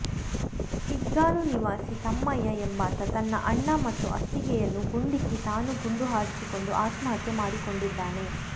ಕಿಗ್ಗಾಲು ನಿವಾಸಿ ತಮ್ಮಯ್ಯ ಎಂಬಾತ ತನ್ನ ಅಣ್ಣ ಮತ್ತು ಅತ್ತಿಗೆಯನ್ನು ಗುಂಡಿಕ್ಕಿ ತಾನು ಗುಂಡು ಹಾರಿಸಿಕೊಂಡು ಆತ್ಮಹತ್ಯೆ ಮಾಡಿಕೊಂಡಿದ್ದಾನೆ